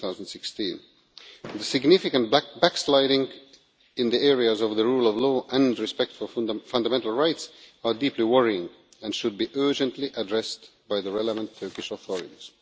2016. The significant backsliding in the areas of the rule of law and respect for fundamental rights are deeply worrying and should be urgently addressed by the relevant Turkish authorities.